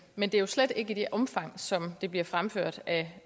men det er jo slet ikke i det omfang som det bliver fremført af